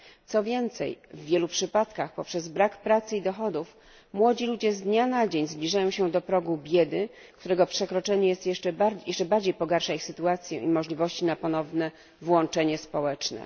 Co więcej, w wielu przypadkach poprzez brak pracy i dochodów młodzi ludzie z dnia na dzień zbliżają się do progu biedy, którego przekroczenie jeszcze bardziej pogarsza ich sytuację i możliwości na ponowne włączenie społeczne.